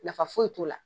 Nafa foyi t'o la